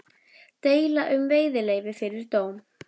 Deila um veiðileyfi fyrir dóm